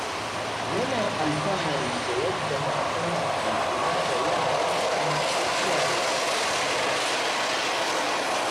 Yana alfahari da yadda matarsa ke kula da yaransa da iyayensa.